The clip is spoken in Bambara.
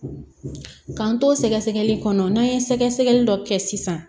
K'an to sɛgɛsɛgɛli kɔnɔ n'an ye sɛgɛsɛgɛli dɔ kɛ sisan